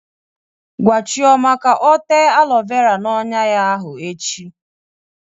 Gwa Chioma ka o tee alọ vera n'ọnyà ya ahụ echi!